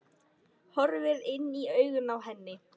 Horfir inn í augun á henni.